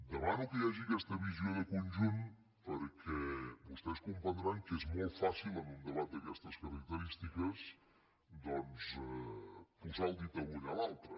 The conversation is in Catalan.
demano que hi hagi aquesta visió de conjunt perquè vostès comprendran que és molt fàcil en un debat d’aquestes característiques doncs posar el dit a l’ull a l’altre